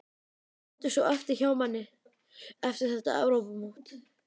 Hvað stendur svo eftir hjá manni eftir þetta Evrópumót?